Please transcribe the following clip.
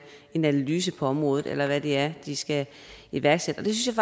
en analyse på området eller hvad det er de skal iværksætte og det synes